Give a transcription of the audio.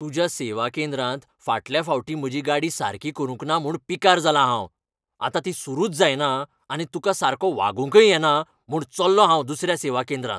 तुज्या सेवा केंद्रांत फाटल्या फावटी म्हजी गाडी सारकी करूंक ना म्हुण पिकार जालां हांव. आतां ती सुरूच जायना आनी तुका सारको वागूंकय येना म्हूण चल्लों हांव दुसऱ्या सेवा केंद्रांत.